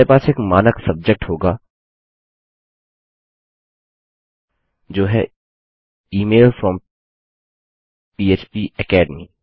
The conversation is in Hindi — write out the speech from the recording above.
हमारे पास एक मानक सब्जेक्ट होगा जो है इमेल फ्रॉम फ्पेकेडमी